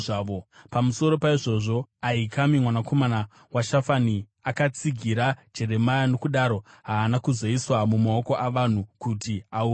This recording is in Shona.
Pamusoro paizvozvo Ahikami mwanakomana waShafani akatsigira Jeremia, nokudaro haana kuzoiswa mumaoko avanhu kuti aurayiwe.